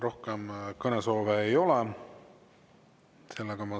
Rohkem kõnesoove ei ole.